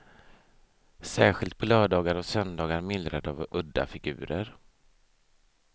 Särskilt på lördagar och söndagar myllrar det av udda figurer.